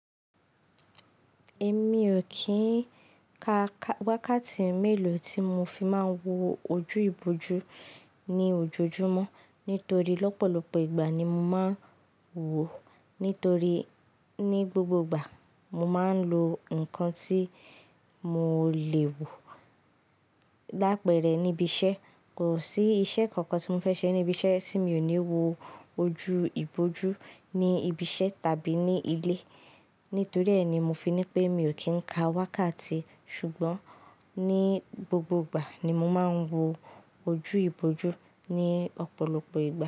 Èmi ò kí ń ka wákàtí mélòó tí mo fi máa ń wo ojúìbójú ní ojojúmọ́. Nítorí lọ́pọ̀lọpọ̀ ìgbà ni mo máa ń wò. Nítorí ní gbogbo ìgbà, mo máa ń lo nǹkan tí mo lè wò lápẹ́rẹ́ níbi iṣẹ́. Kò sí iṣẹ́ kankan tí mo fẹ́ ṣe níbi iṣẹ́ tí mi ò ní wo ojúìbójú ní ibi iṣẹ́ tàbí ní ilé. Nítorí ẹ́ ni mo fi ní pé mi ò kí ń ka wákàtí. Ṣùgbọ́n ní gbogbo ìgbà ni mo máa ń wo ojúìbójú ní ọ̀pọ̀lọpọ̀ ìgbà.